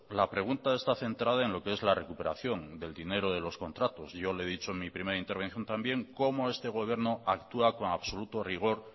la pregunta está centrada en lo que es la recuperación del dinero de los contratos yo le he dicho en mi primera intervención también cómo este gobierno actúa con absoluto rigor